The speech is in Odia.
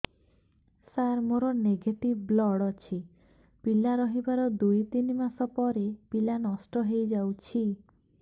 ସାର ମୋର ନେଗେଟିଭ ବ୍ଲଡ଼ ଅଛି ପିଲା ରହିବାର ଦୁଇ ତିନି ମାସ ପରେ ପିଲା ନଷ୍ଟ ହେଇ ଯାଉଛି